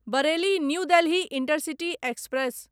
Bareilly new Delhi intercity express